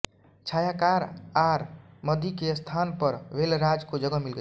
छायाकार R Madhi के स्थान पर वेलराज को जगह मिल गई